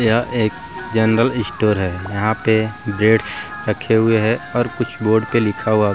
यह एक general store है यहां पर ब्रेड्स रखे हुए हैं और कुछ बोर्ड लिखा हुआ --